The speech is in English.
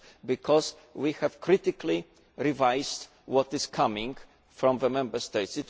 because we have critically revised what is coming from the Member States.